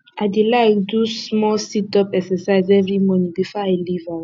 i dey like do small situp exercise every morning before i leave house